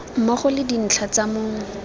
mmogo le dintlha tsa mong